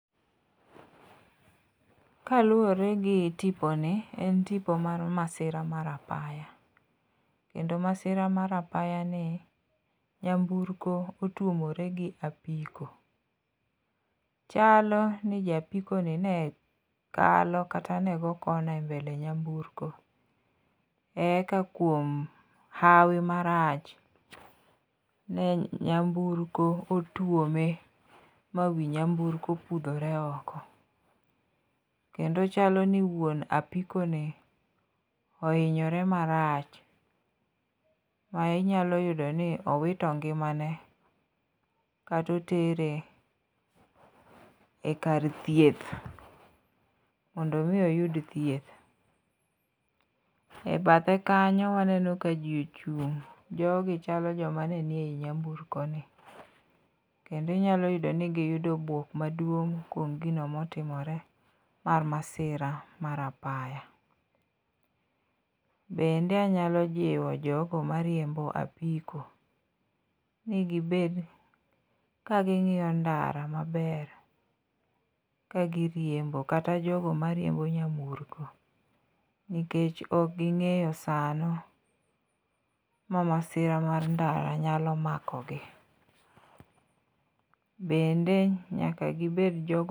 Kaluwore gi tiponi ,en tipo mar masira mar apaya ,kendo masira mar apayani, naymburko otuomore gi apiko, chalo ni japikoni ne kalo kata ne go corner e mbele naymburko eka kuom hawi marach, ne nyamburko otuome ma wi nyamburko opudhore oko, kendo chalo ni wuon apikoni ohinyore marach, ma inyalo yudoni owito ngimane kata otere e kar thieth mondo omi oyud thieth. E bathe kanyo waneno ka ji ochung' Jogi chalo joma ne ni eyi nyamburkoni, kendo inyalo yudoni giyudo bwok maduong 'kuom gino motimore mar masira mar apaya. Bende anyalo jiwo jogo mariembo apiko, ni gibed kaging'iyo ndara maber ka giriembo, kata jogo mariembo nyamburko, nikech ok ging'eyo sano ma masira mar ndara nyalo makogi. Bende nyaka gibed jok mo